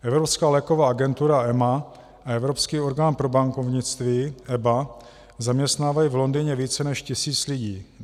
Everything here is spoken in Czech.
Evropská léková agentura, EMA, a Evropský orgán pro bankovnictví, EBA, zaměstnávají v Londýně více než tisíc lidí.